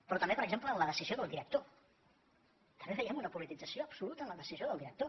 però també per exemple en la decisió del director també veiem una politització absoluta en la decisió del director